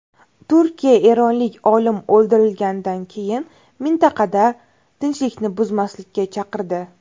Turkiya eronlik olim o‘ldirilganidan keyin mintaqada tinchlikni buzmaslikka chaqirdi.